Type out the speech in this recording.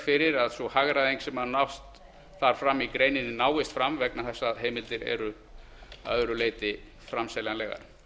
fyrir að sú hagræðing sem nást þarf fram í greininni náist fram vegna þess að heimildir eru að öðru leyti framseljanlegar